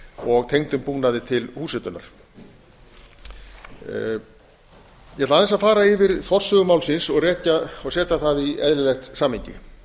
og tengdum búnaði til húshitunar ég ætla aðeins að fara yfir forsögu málsins og rekja og setja það í eðlilegt samhengi